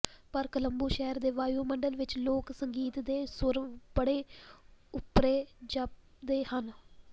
ਪਰ ਕੋਲੰਬੂ ਸ਼ਹਿਰ ਦੇ ਵਾਯੂ ਮੰਡਲ ਵਿਚ ਲੋਕ ਸੰਗੀਤ ਦੇ ਸੁਰ ਬੜੇ ਓਪਰੇ ਜਾਪਦੇ ਹਨ